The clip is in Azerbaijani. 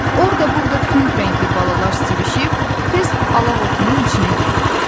Orda-burda tünd rəngli balalar sivişib, tez alaq otunun içinə girirdi.